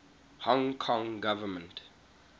hong kong government